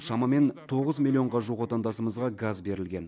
шамамен тоғыз миллионға жуық отандасымызға газ берілген